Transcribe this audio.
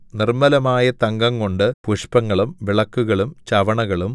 നിർമ്മലമായ തങ്കംകൊണ്ട് പുഷ്പങ്ങളും വിളക്കുകളും ചവണകളും